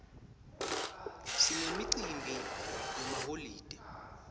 sinemicimbi yemaholide